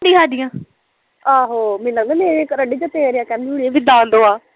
ਆਹੋ ਮੇਰੀਆਂ ਚੁਗਲੀਆਂ ਵੀ ਕਰਨ ਡਈ ਤੇਰੀਆਂ ਕਹਿੰਦੀ ਹੋਣੀ ਵੀ ਦਾਦੋ ਆ